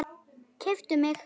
Keyptu mig?